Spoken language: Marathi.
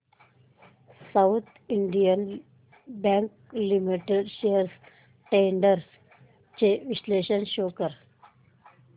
south Indian Bank Limited shares trends चे विश्लेषण शो कर